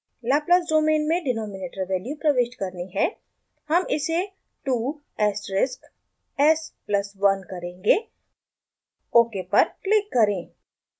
laplace domain में denominator value प्रविष्ट करनी है हम इसे 2 asteric s plus 1 करेंगे ok पर क्लिक करें